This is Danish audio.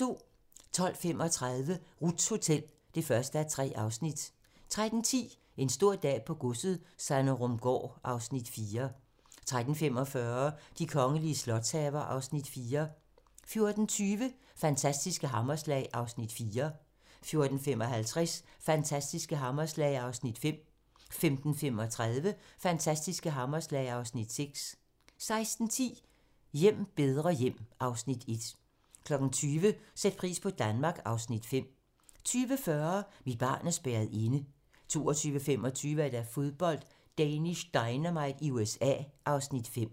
12:35: Ruths Hotel (1:3) 13:10: En stor dag på godset - Sanderumgaard (Afs. 4) 13:45: De kongelige slotshaver (Afs. 4) 14:20: Fantastiske hammerslag (Afs. 4) 14:55: Fantastiske hammerslag (Afs. 5) 15:35: Fantastiske hammerslag (Afs. 6) 16:10: Hjem bedre hjem (Afs. 1) 20:00: Sæt pris på Danmark (Afs. 5) 20:40: Mit barn er spærret inde 22:25: Fodbold: Danish Dynamite i USA (Afs. 5)